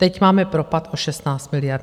Teď máme propad o 16 miliard.